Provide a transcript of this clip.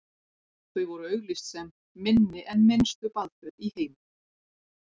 þau voru auglýst sem „minni en minnstu baðföt í heimi“